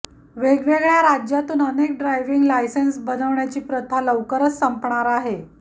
वेगवेगळ्या राज्यातून अनेक ड्रायविंग लायसेंस बनवण्याची प्रथा लवकरच संपणार आहे